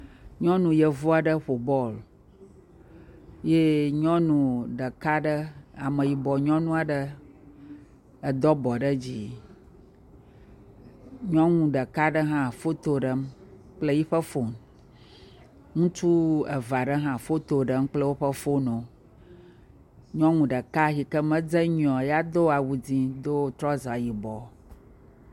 Nyɔnuyevu aɖe ƒo bɔl ye nyɔnu ɖeka aɖe ameyibɔ nyɔnu aɖe edo abɔ ɖe dzi, nyɔnu ɖeka aɖe hã foto ɖem kple yi ƒe fon, ŋutsu eve aɖe hã foto ɖem kple yi woƒe fonwo, nyɔnu ɖeka yi ke medze nyuie o la do awu ʋi kple trɔza yibɔ.